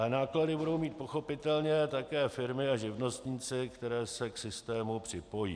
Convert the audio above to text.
Ale náklady budou mít pochopitelně také firmy a živnostníci, kteří se k systému připojí.